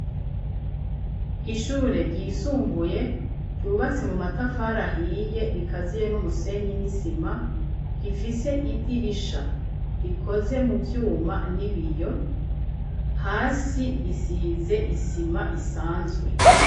Ishure ryisumbuye ryubatse mu matafara ahiye rikaziye n'umusenyi n'isima rifise idirisha rikoze mu vyuma n'ibiyo. Hasi risize isima isanzwe.